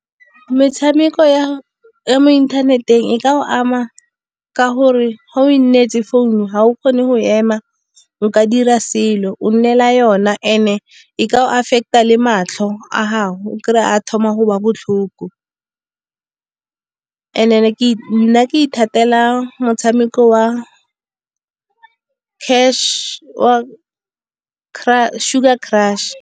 Mtshameko ya mo inthaneteng e ka ama ka gore ga o e nnetse founu ga o kgone go ema, o ka dira selo o nnela yona and-e e ka go affecta le matlho a gago. O kry-e a thoma go utlwa botlhoko, and then nna ke ithatela motshameko wa Sugar crush.